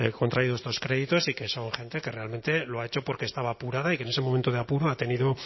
contraído estos créditos y que son gente que realmente lo ha hecho porque estaba apurada y que en ese momento de apuro ha tenido